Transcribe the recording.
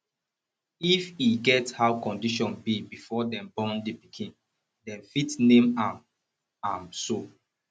if e get how condition be before dem born di pikin dem fit name am am so